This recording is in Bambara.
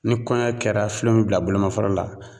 Ni kɔɲɔ kɛra filen mi bila bolomafara la.